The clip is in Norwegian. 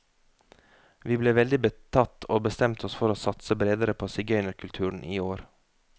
Vi ble veldig betatt, og bestemte oss for å satse bredere på sigøynerkulturen i år.